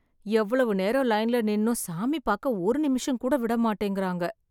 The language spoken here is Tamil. எவ்வளவு நேரம் லைன் நின்னு சாமி பார்க்க ஒரு நிமிஷம் கூட விட மாட்டேங்குறாங்க.